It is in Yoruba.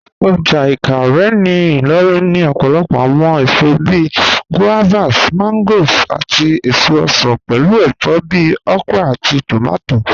Ọjà Ìkàárẹ̀ ní Ìlòrìn ní òpòlòpò awọn èsò bíí guavas, mangoes, àtí èsò osan, pẹ̀lú èfọ̀ bíí okra àtí tómátí.